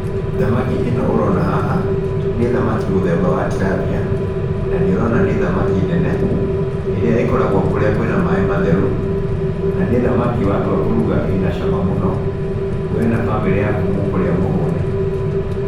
Thamaki ĩno ũrona haha, nĩ thamaki mũthemba wa Tilapia nanĩ ũrona nĩ thamaki nene, ĩrĩa ĩkoragwo kũrĩa kwĩna maĩ matheru, na nĩ thamaki watua kũruga ĩna cama mũno, we na bamĩrĩ yaku mũkũrĩa mũhũne